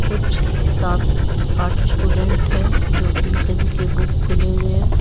कुछ सात आठ स्टूडेंट है जो की सभी के बुक खुले हुए हैं।